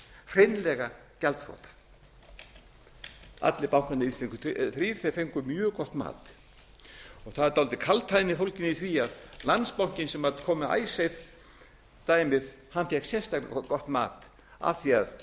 hreinlega gjaldþrota allir bankarnir íslensku þrír sem fengu mjög gott mat það er dálítil kaldhæðni fólgin í því að landsbankinn sem kom með icesave dæmið fékk sérstaklega gott mat af því